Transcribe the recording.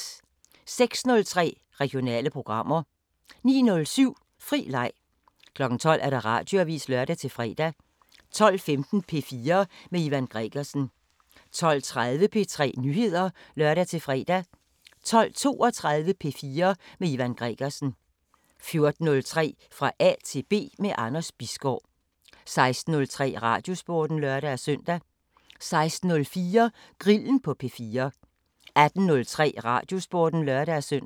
06:03: Regionale programmer 09:07: Fri leg 12:00: Radioavisen (lør-fre) 12:15: P4 med Ivan Gregersen 12:30: P4 Nyheder (lør-fre) 12:32: P4 med Ivan Gregersen 14:03: Fra A til B – med Anders Bisgaard 16:03: Radiosporten (lør-søn) 16:04: Grillen på P4 18:03: Radiosporten (lør-søn)